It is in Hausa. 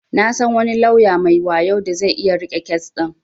Na san wani lauya mai wayo da zai iya riƙe kes din.